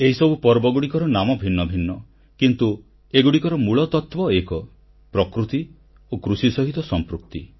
ଏହିସବୁ ପର୍ବର ନାମ ଭିନ୍ନଭିନ୍ନ ହୋଇଥାଏ କିନ୍ତୁ ଏଗୁଡ଼ିକର ମହତ୍ବ ଓ ମୂଳତତ୍ୱ ଏକ ପ୍ରକୃତି ଓ କୃଷି ସହିତ ସମ୍ପୃକ୍ତି